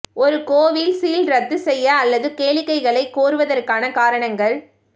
ஒரு கோவில் சீல் இரத்து செய்ய அல்லது கேளிக்கைகளை கோருவதற்கான காரணங்கள்